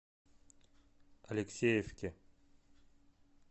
алексеевке